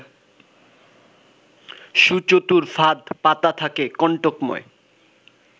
সুচতুর ফাঁদ পাতা থাকে কন্টকময়